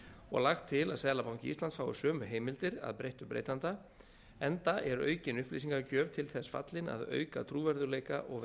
og lagt til að seðlabanki íslands fái sömu heimildir að breyttu breytanda enda er aukin upplýsingagjöf til þess fallin að auka trúverðugleika og